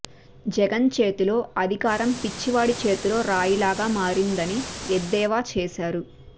జగన్ చేతిలో అధికారం పిచ్చివాడి చేతిలో రాయిలాగా మారిందని ఎద్దేవా చేశారు